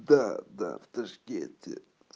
да да в ташкенте